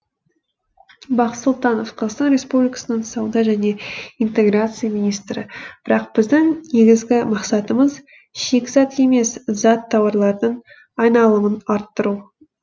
бақыт сұлтанов қазақстан республикасының сауда және интеграция министрі бірақ біздің негізгі мақсатымыз шикізат емес зат тауарлардың айналымын арттыру